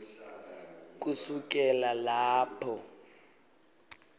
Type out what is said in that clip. kusukela lapho